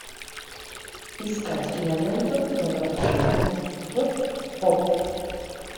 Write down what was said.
искать киноленту добро пожаловать в поп